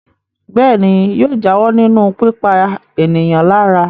Bẹ́ẹ̀ ni, yóò jáwọ́ nínú pípa ènìyàn lára.